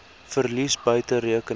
verlies buite rekening